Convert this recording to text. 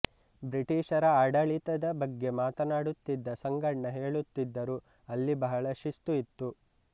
ಬ್ರಿಟಿಷರ ಆಡಳಿತದ ಬಗ್ಗೆ ಮಾತನಾಡುತ್ತಿದ್ದ ಸಂಗಣ್ಣ ಹೇಳುತ್ತಿದ್ದರು ಅಲ್ಲಿ ಬಹಳ ಶಿಸ್ತು ಇತ್ತು